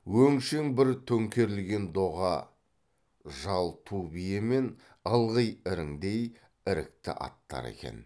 өңшең бір төңкерілген доға жал ту бие мен ылғи іріңдей ірікті аттар екен